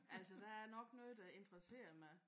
Altså der er nok noget der interesserer mig